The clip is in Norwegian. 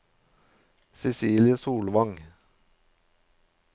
Cecilie Solvang